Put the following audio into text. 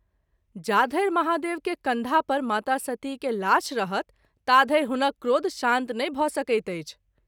जाधरि महादेव के कँधा पर माता सती के लाश रहत ताधरि हुनक क्रोध शान्त नहिं भ’ सकैत अछि।